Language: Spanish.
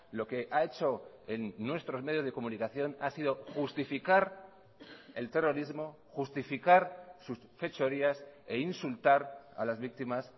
lo que ha hecho en nuestros medios de comunicación ha sido justificar el terrorismo justificar sus fechorías e insultar a las víctimas